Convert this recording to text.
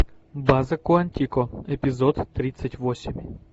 база куантико эпизод тридцать восемь